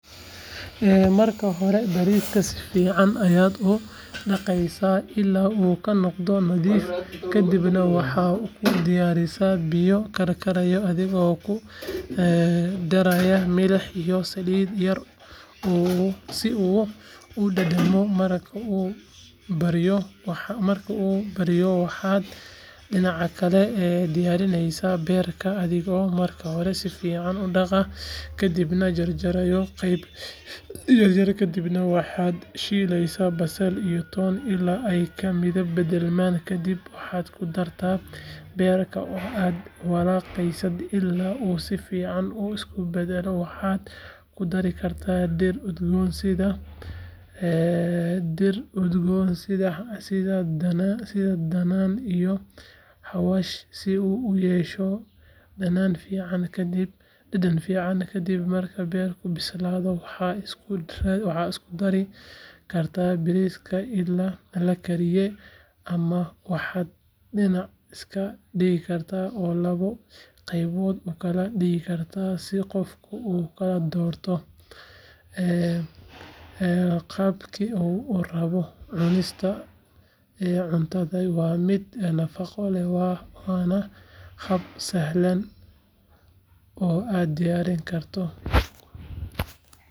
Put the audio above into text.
/Marka hore bariiska si fiican ayaad u dhaqaysaa ilaa uu ka noqdo nadiif kadibna waxaad ku ridaysaa biyo karkaraya adigoo ku daraya milix iyo saliid yar si uu u dhadhamiyo marka uu baryo waxaad dhinaca kale diyaarinaysaa beerka adigoo marka hore si fiican u dhaqa kadibna jarjaraya qaybo yaryar kadibna waxaad shiilaysaa basal iyo toon ilaa ay ka midab beddelaan kadib waxaad ku dartaa beerka oo aad walaaqaysaa ilaa uu si fiican u bislaado waxaad ku dari kartaa dhir udgoon sida dhanaan iyo xawaash si uu u yeesho dhadhan fiican kadib marka beerka bislaado waxaad isku darin kartaa bariiskii la kariyay ama waxaad dhinac iska dhigtaa oo laba qaybood u kala dhigtaa si qofku u kala doorto qaabkii uu rabay cunista cuntadani waa mid nafaqo leh waana hab sahlan oo aad u diyaarin karto.